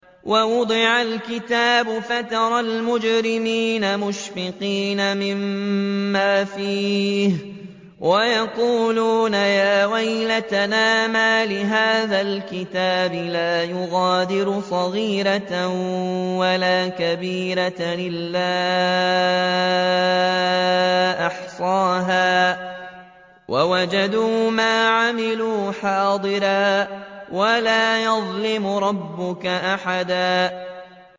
وَوُضِعَ الْكِتَابُ فَتَرَى الْمُجْرِمِينَ مُشْفِقِينَ مِمَّا فِيهِ وَيَقُولُونَ يَا وَيْلَتَنَا مَالِ هَٰذَا الْكِتَابِ لَا يُغَادِرُ صَغِيرَةً وَلَا كَبِيرَةً إِلَّا أَحْصَاهَا ۚ وَوَجَدُوا مَا عَمِلُوا حَاضِرًا ۗ وَلَا يَظْلِمُ رَبُّكَ أَحَدًا